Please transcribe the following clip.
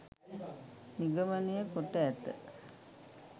නිගමනය කොට ඇත.